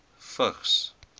vigs